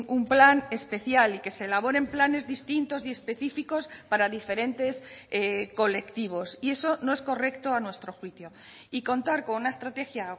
un plan especial y que se elaboren planes distintos y específicos para diferentes colectivos y eso no es correcto a nuestro juicio y contar con una estrategia